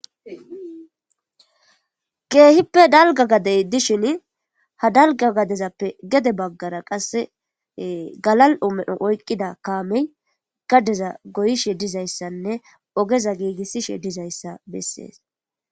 Keehippe dalga gadey dishin ha dalga gadezappe gede baggara qasse galal'o medho oyqqida kaamey gadeza goyishe dizayssanne ogeza giigissishe dizayssa bessees.